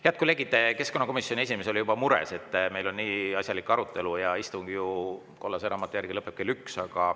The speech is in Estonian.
Head kolleegid, keskkonnakomisjoni esimees oli juba mures, et meil on nii asjalik arutelu, aga istung ju kollase raamatu järgi lõpeb kell 1.